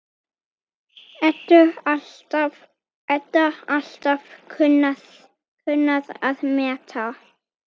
Edda alltaf kunnað að meta.